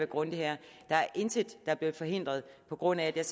grundig her der er intet der er blevet forhindret på grund af at jeg